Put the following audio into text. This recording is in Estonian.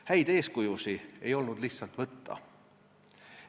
Häid eeskujusid ei olnud lihtsalt võtta.